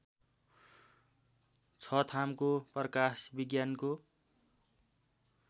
छथामको प्रकाश विज्ञानको